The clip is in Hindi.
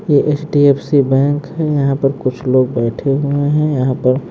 यह H D F C bank है यहां पर कुछ लोग बैठे हुए हैं यहां पर--